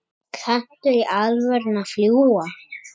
Kanntu í alvöru að fljúga?